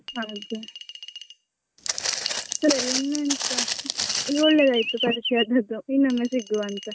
ಅದೇ ಸರಿ ಇನ್ನೆಂತ? ಇದು ಒಳ್ಳೆದಾಯ್ತು ಪರಿಚಯ ಆದದ್ದು ಇನ್ನೊಮ್ಮೆ ಸಿಗುವ ಅಂತ.